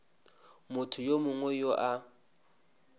motho yo mongwe yo a